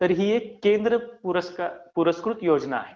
तर ही एक केंद्र पुरस्कृत योजना आहे.